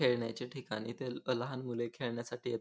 खेळण्याचे ठिकाणी इथे लहान मूल खेळण्यासाठी येत --